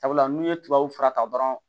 Sabula n'u ye tubabu fura ta dɔrɔn